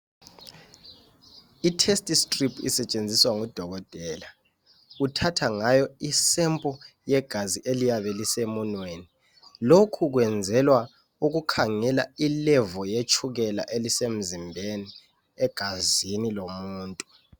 Iteststrip isetshenziswa ngudokotela, uthatha ngayo sample yegazi eliyabe lisemunweni. Lokhu kwenzelwa ukukhangelwa ilevel yetshukela elisenzimbeni egazini lomuntu.